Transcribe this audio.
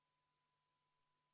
Palun võtta seisukoht ja hääletada!